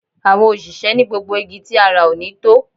Àwọn òṣìṣẹ́ ni gbogbo igi tí a rà ò ní tó